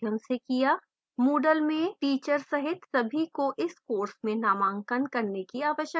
moodle में teacher सहित सभी को इस course में नामांकन करने की आवश्यकता है